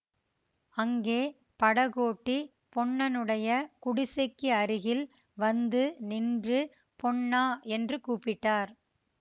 அங்கே படகோட்டி பொன்னனுடைய குடிசைக்கு அருகில் வந்து நின்று பொன்னா என்று கூப்பிட்டார்